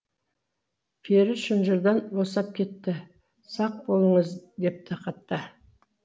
пері шынжырдан босап кетті сақ болыңыз депті хатта